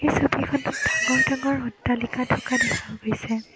এই ছবিখনত ডাঙৰ ডাঙৰ অট্টালিকা থকা দেখা গৈছে।